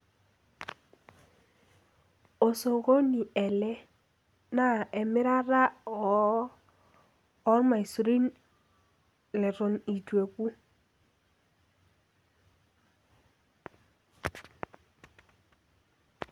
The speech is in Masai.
osokoni ele, naa emirata oo irmaisurini leton itu eku.